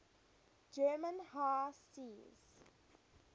german high seas